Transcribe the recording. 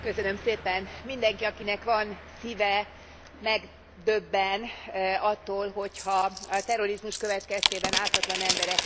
Mindenki, akinek van szíve, megdöbben attól, hogyha a terrorizmus következtében ártatlan emberek meghalnak.